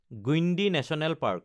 Guindy national park